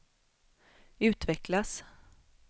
utvecklas